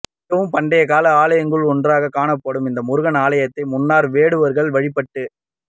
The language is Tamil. மிகவும் பண்டைய கால ஆலயங்களுல் ஒன்றாக காணப்படும் இந்த முருகன் ஆலயம்தை முன்னர் வேடுவர்கள் வழிப்பட்டு